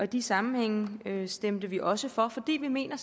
disse sammenhænge stemte vi også for for vi mener